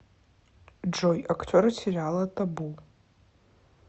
джой актеры сериала табу